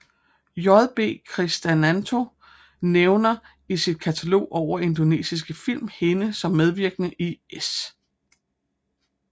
JB Kristanto nævner i sit katalog over indonesiske film hende som medvirkende i S